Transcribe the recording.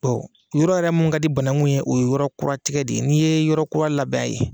yɔrɔ yɛrɛ mun ka di banangun ye o ye yɔrɔ kura tigɛ de ye n'i ye yɔrɔ kura labɛn a ye.